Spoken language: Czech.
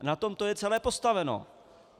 Na tom to je celé postaveno.